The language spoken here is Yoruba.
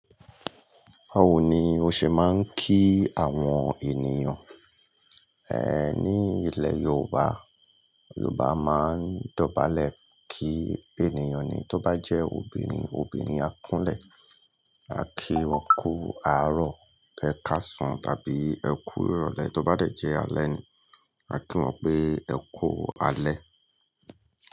Bawò ni ó ṣe máa ń kí àwọn ènìyàn, ní ilẹ̀ Yorùbá. Yorùbá máa ń dọ̀bálẹ̀ kí ènìyàn ni. Tó bá jẹ́ obìnrin, obìnrin akúnlẹ̀ a kí wọn kú àárọ̀, ẹ káàsán tàbí ẹ kú ìrọ̀lẹ́. Tó bá de jẹ́ alẹ́ ni, a kí wọn pé ẹ kú alẹ́.